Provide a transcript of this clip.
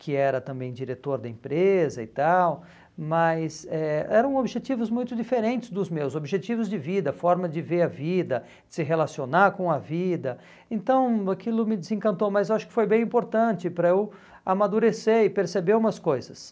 que era também diretor da empresa e tal, mas eh eram objetivos muito diferentes dos meus, objetivos de vida, forma de ver a vida, se relacionar com a vida, então aquilo me desencantou, mas acho que foi bem importante para eu amadurecer e perceber umas coisas.